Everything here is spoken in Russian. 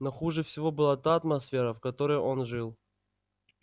но хуже всего была та атмосфера в которой он жил